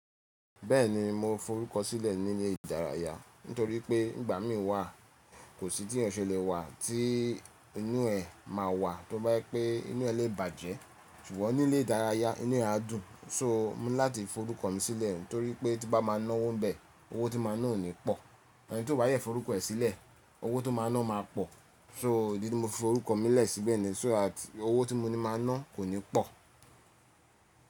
Bẹ́ẹ̀ni, mo forúkọ sílẹ̀ ní ilé ìdárayá, nítorí pé ìgbà mí wà kò sí tí òun ṣe lè wà tí inú ẹ máa wà tó bá yẹ pé inú ẹ lè bàjẹ́, ṣùgbọ́n ní ilé ìdárayá inú ẹ a dùn. So mo ní láti forúkọ mi sílẹ̀ nítorí pé tí bá máa náwó ń bẹ, owó tí máa ná oni pọ̀. Eni tí tó bá yẹ forúkọ ẹ̀ sílẹ̀, owó tó máa ná má a pọ̀. So idí tí mo fi forúkọ mi lẹ̀ síbẹ̀ ni so that owó tí mo ní máa ná kò ní pọ̀.